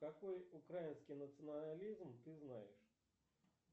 какой украинский национализм ты знаешь